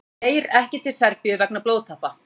Geir ekki til Serbíu vegna blóðtappa